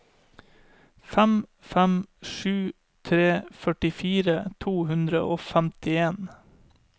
fem fem sju tre førtifire to hundre og femtien